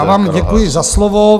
Já vám děkuji za slovo.